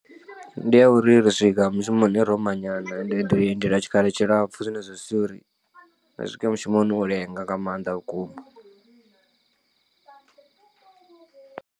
Ndi ya uri ri swika mushumoni ro manyana ende ri lindela tshikhala tshilapfu zwine zwa sia uri ri swike mushumoni u lenga nga maanḓa vhukuma.